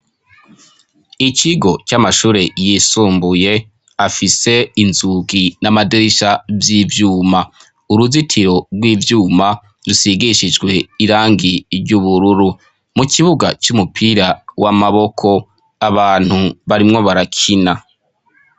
Ikigo c'amashure yisumbuye afise inzugi n'amadirisha vy'ivyuma, uruzitiro rw'ivyuma rusigishijwe irangi ry'ubururu, mu kibuga c'umupira w'amaboko abantu barimwo barakina.